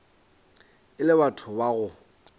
e le batho ba go